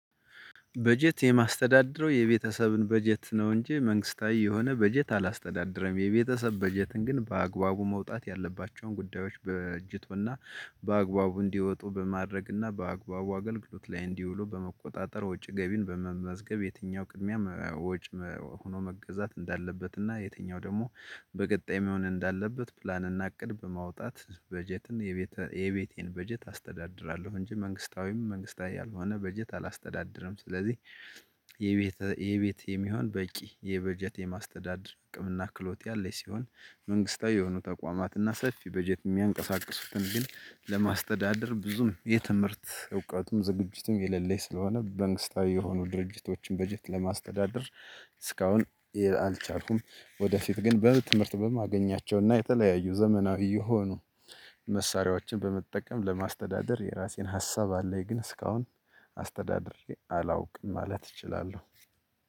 በጀት የማስተዳደረው የቤተሰብን በጀት ነው እንጂ መንግስታዊ የሆነ በጀት አላስተዳደረም የቤተሰብ በጀትን ግን በአግባቡ መውጣት ያለባቸውን ጉዳዮች በጅቶና በአግባቡ እንዲወጡ በማድረግና በአግባቡ አገልግሎት ላይ እንዲውሉ በመቆጣጠር ወጪ ገቢን በመመዝገብ የትኛው ቅድሚያ ወጪ ሆኖ መገዛት እንዳለበት እና የትኛው ደግሞ በቀጣይ መሆን እንዳለበት ፕላን እና ቅድም ማውጣት በጀትን የቤቴን በጀት አስተዳድራለሁ እንጂ መንግስታዊም መንግስታዊ ያልሆነ በጀት አላስተዳድርም። ስለዚህ የቤት የቤት የሚሆን በቂ የበጀት የማስተዳደር አቅምና ክሎት ያለኝ ሲሆን መንግስታዊ የሆኑ ተቋማት እና ሰፊ በጀት የሚያንቀሳቅሱትን ግን ለማስተዳደር ብዙም የትምህርት እውቀቱም ዝግጅትም የሌለኝ ስለሆነ በመንግስታዊ የሆኑ ድርጅቶችን በጀት ለማስተዳደር እስካሁን አልቻልኩም። ወደፊት ግን በትምህርት በማገኛቸውና የተለያዩ ዘመናዊ የሆኑ መሳሪያዎችን በመጠቀም ለማስተዳደር የራሴን ሀሳብ አለኝ። ግን እስካሁን አስተዳድሬ አላውቅም ማለት እችላለሁ።